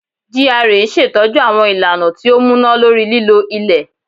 GRA n ṣetọju àwọn ìlànà ti o múná lórí lílo ilẹ